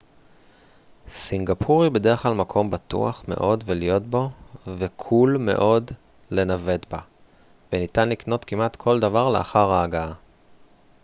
סינגפור היא בדרך כלל מקום בטוח מאוד להיות בו וקול מאוד לנווט בה וניתן לקנות כמעט כל דבר לאחר ההגעה